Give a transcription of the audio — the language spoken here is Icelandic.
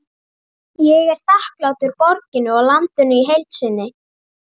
Ég er þakklátur borginni og landinu í heild sinni.